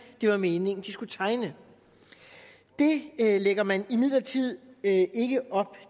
det var meningen de skulle tegne det lægger man imidlertid ikke op